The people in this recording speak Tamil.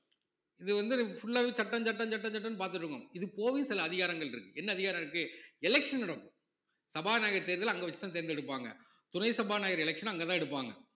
இது வந்து full ஆவே சட்டம் சட்டம் சட்டம் சட்டம்னு பார்த்துட்டு இருக்குணும் இது சில அதிகாரங்கள் இருக்கு என்ன அதிகாரம் இருக்கு election நடக்கும் சபாநாயகர் தேர்தல அங்க வச்சி தான் தேர்ந்தெடுப்பாங்க துணை சபாநாயகர் election உ அங்க தான் எடுப்பாங்க